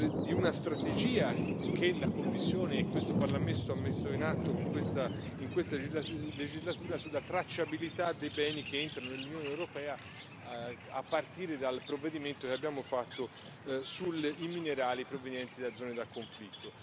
di una strategia che la Commissione e questo Parlamento hanno messo in atto in questa legislatura sulla tracciabilità dei beni che entrano nell'Unione europea, a partire dal provvedimento che abbiamo fatto sui minerali provenienti da zone di conflitto.